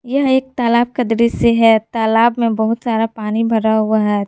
यह एक तालाब का दृश्य है तालाब में बहुत सारा पानी भरा हुआ है।